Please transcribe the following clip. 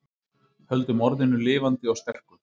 Höldum orðinu lifandi og sterku